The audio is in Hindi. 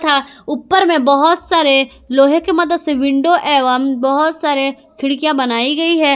तथा ऊपर में बहोत सारे लोहे की मदद से विंडो एवं बहुत सारे खिड़कियां बनाई गई है।